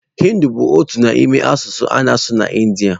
Hị́ndị bụ otu n'ime asụsụ a na-asụ na Ịndía.